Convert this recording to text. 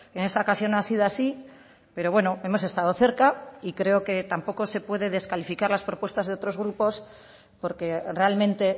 en esta ocasión ha sido así pero bueno hemos estado cerca y creo que tampoco se puede descalificar las propuestas de otros grupos porque realmente